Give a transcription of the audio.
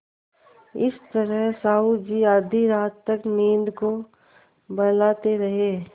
इस तरह साहु जी आधी रात तक नींद को बहलाते रहे